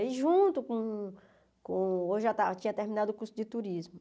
Aí junto com com... Eu já ta já tinha terminado o curso de turismo.